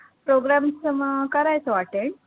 programs अं करायचो attend